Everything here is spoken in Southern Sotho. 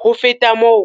"Ho feta moo,